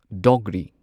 Dogri